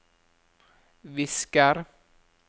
visker